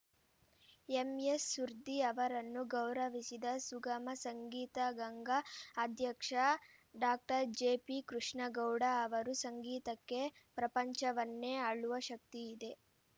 MS Surdi ಅವರನ್ನು ಗೌರವಿಸಿದ ಸುಗಮ ಸಂಗೀತಗಂಗಾ ಅಧ್ಯಕ್ಷ ಡಾಕ್ಟರ್ ಜೆಪಿ ಕೃಷ್ಣೇಗೌಡ ಅವರು ಸಂಗೀತಕ್ಕೆ ಪ್ರಪಂಚವನ್ನೆ ಆಳುವ ಶಕ್ತಿ ಇದೆ